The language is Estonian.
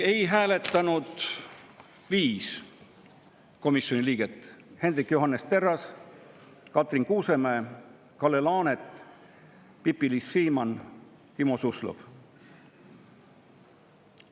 Ei hääletanud 5 komisjoni liiget: Hendrik Johannes Terras, Katrin Kuusemäe, Kalle Laanet, Pipi-Liis Siemann, Timo Suslov.